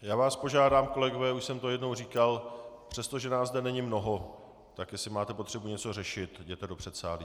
Já vás požádám kolegové, už jsem to jednou říkal, přestože nás zde není mnoho, tak jestli máte potřebu něco řešit, jděte do předsálí.